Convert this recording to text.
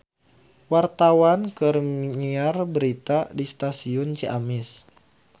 Wartawan keur nyiar berita di Stasiun Ciamis